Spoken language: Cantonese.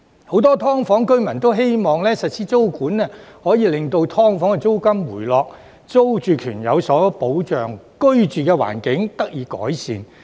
很多"劏房"居民都希望實施租管可以令"劏房"租金回落，租住權有所保障，居住環境得以改善。